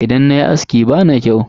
Idan nayi aski bana kyau.